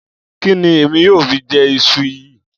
Kí ni èmi yóò fi jẹ iṣu yìí?